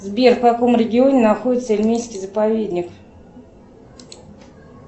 сбер в каком регионе находится ильменский заповедник